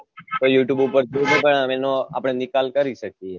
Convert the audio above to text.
તો youtube ઉપર આપને નિકાલ કરી શકિયે